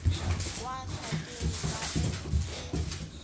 wa hlakeng ba et e